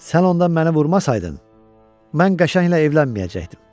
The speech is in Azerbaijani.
Sən onda məni vurmasaydın, mən qəşənglə evlənməyəcəkdim.